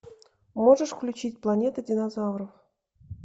можешь включить планета динозавров